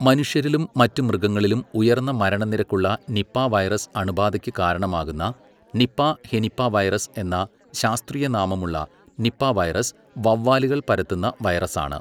മനുഷ്യരിലും മറ്റ് മൃഗങ്ങളിലും ഉയർന്ന മരണനിരക്ക് ഉള്ള നിപാ വൈറസ് അണുബാധയ്ക്ക് കാരണമാകുന്ന, നിപാ ഹെനിപാവൈറസ് എന്ന ശാസ്ത്രീയ നാമമുള്ള നിപാ വൈറസ് വവ്വാലുകൾ പരത്തുന്ന വൈറസാണ്.